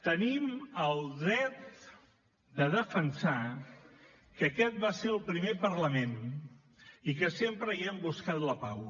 tenim el dret de defensar que aquest va ser el primer parlament i que sempre hi hem buscat la pau